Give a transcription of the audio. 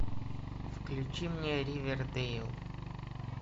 включи мне ривердейл